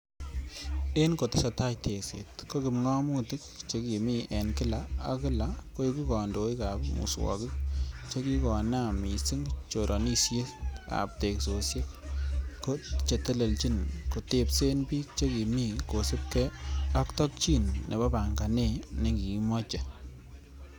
En kotesetai tekset, ko kipngomutik che kimi en kila ak kila koiku kondoik ab muswogik chekikonaam mising choranosiek ab teksosiek ko chetelechin, kotebsen bik che kimi kosiibge ak tokyin nebo panganey nekiimoche